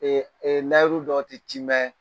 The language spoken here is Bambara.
layuru dɔ tɛ timɛ